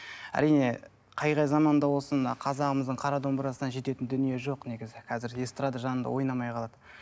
әрине қай қай заманда болсын мына қазағымыздың қара домбырасына жететін дүние жоқ негізі қазіргі эстрада жанында ойнамай қалады